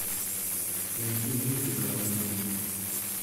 найди мультик алладин